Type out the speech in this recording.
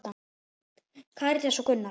Karítas og Gunnar.